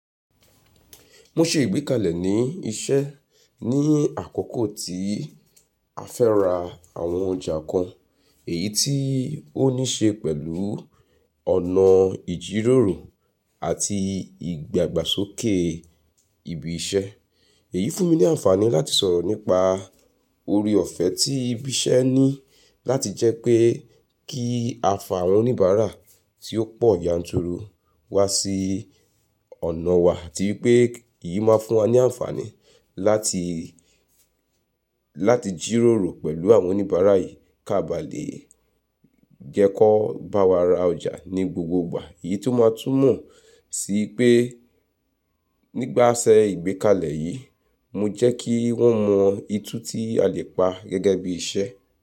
Mo ṣe ìgbékalẹ̀ ní iṣẹ́ ní àkókò tí a fẹ́ ra àwọn ọjà kan, èyí tí ó ní ṣe pẹ̀lú ọ̀nà ìjíròrò àti ìdàgbàsókè ibi iṣẹ́. Èyí fún mi ní àǹfààní láti sọ̀rọ̀ nípa ọrẹ ọ̀fẹ́ tí ibi iṣẹ́ ní láti jẹ́ pé kí a fà àwọn oníbàárà tí ó pọ̀ yanturu wá sí ọ̀nà wa àti wípé èyí máa fún wa ní àǹfààní láti, láti jíròrò pẹ̀lú àwọn oníbàárà yìí ká ba lè jẹ́ kó bá wa ra ọjà ní gbogbo gbà. Èyí tún máa tún mọ̀ sí i pé nípasẹ ìgbékalẹ̀ yìí, mo jẹ́ kí wọ́n mọ ìtú tí a lè pa gẹ́gẹ́ bí iṣẹ́.